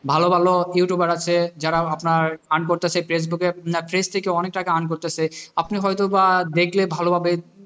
ভালো ভালো youtuber আছে যারা আপনার earn করতেসে ফেসবুকের page থেকে অনেক টাকা earn করতেছে আপনি হয়তো বা দেখলে ভালো ভাবে,